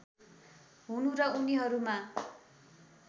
हुनु र उनीहरूमा